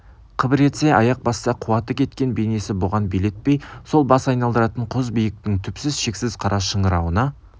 қыбыр етсе аяқ басса қуаты кеткен бейнесі бұған билетпей сол бас айналдыратын құз биіктің түпсіз шексіз қара шыңырауына